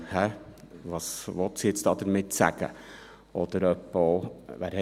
«Hä, was will sie jetzt damit sagen?», oder etwa auch: